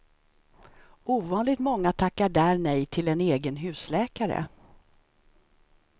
Ovanligt många tackar där nej till en egen husläkare.